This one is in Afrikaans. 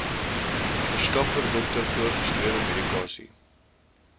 verskaffer dokter voorgeskrewemedikasie